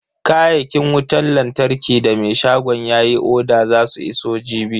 Kayakin wutan lantarkin da me shagon yayi oda zasu iso jibi.